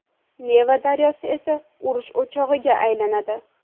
Neva daryosi esa urush o‘chog‘iga aylanadi.